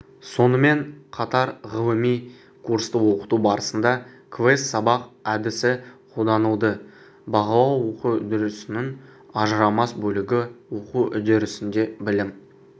сонымен қатарғылыми курсты оқыту барысында квест сабақ әдісіқолданылды бағалау оқу үдерісінің ажырамас бөлігі оқу үдерісінде білім